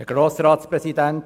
Kommissionssprecher